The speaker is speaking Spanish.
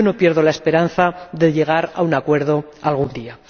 Yo no pierdo la esperanza de llegar a un acuerdo algún día.